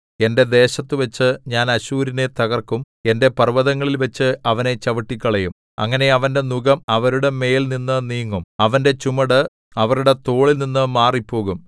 എന്റെ ദേശത്തുവച്ച് ഞാൻ അശ്ശൂരിനെ തകർക്കും എന്റെ പർവ്വതങ്ങളിൽവച്ച് അവനെ ചവിട്ടിക്കളയും അങ്ങനെ അവന്റെ നുകം അവരുടെമേൽനിന്നു നീങ്ങും അവന്റെ ചുമട് അവരുടെ തോളിൽനിന്നു മാറിപ്പോകും